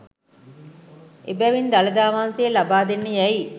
එබැවින් දළදා වහන්සේ ලබා දෙන්න යැයි